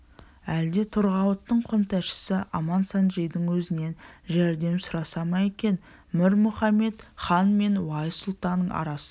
әлде торғауыттың қонтайшысы амансанджидың өзінен жәрдем сұраса ма екен мір мұхамед хан мен уайс сұлтанның арасы